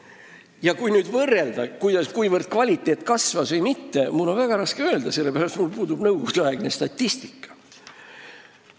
Ja mul on väga raske öelda, kas uurimise kvaliteet kasvas või mitte, sellepärast et mul pole nõukogudeaegset statistikat.